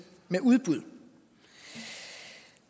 med udbud